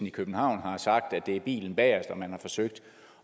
i københavn har sagt at det er bilen bagest og at man har forsøgt